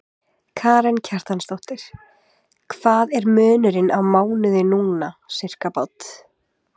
Karen Kjartansdóttir: Hvað er munurinn á mánuði núna, sirkabát?